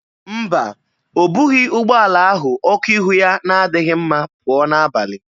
Mba, o bughị ụgbọala ahụ ọkụ ihu ya na-adịghị mma pụọ n'abalị.